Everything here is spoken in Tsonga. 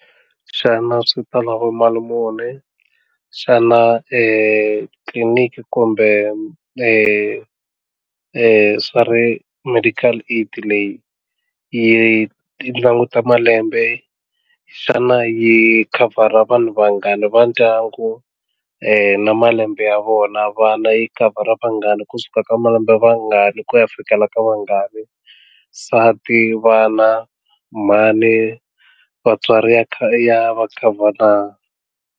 Xana swi ta lava mali muni xana tliliniki kumbe swa ti medical aid leyi yi languta malembe xana yi khavhara vanhu vangani vandyangu na malembe ya vona vana yi khavhara vangani kusuka ka malembe vangaki ku ya fikela ka vangani nsati vana mhani vatswari ya kha ya va khavhara.